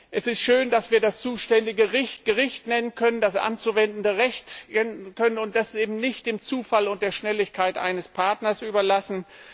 Es ist schön, dass wir das zuständige Gericht nennen können, das anzuwendende Recht bestimmen können und dass wir das eben nicht dem Zufall und der Schnelligkeit eines Partners überlassen.